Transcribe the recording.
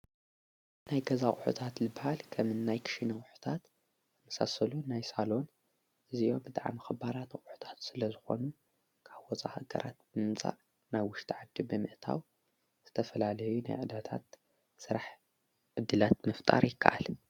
ናይ ገዛ ቕሑታት ልበሃል ከምናይ ክና ወሕታት ኣምሳሰሉ ናይ ሳሎን እዚ ብጥዓም ኽባራት ቝሕታት ስለ ዝኾኑ ካብ ወፃ ገራት ብምምጻእ ና ውሽተ ዓድ በምእታው ዘተፈላልዩ ናይ ዕዳታት ሠራሕ እድላት ምፍጣር ይከኣል።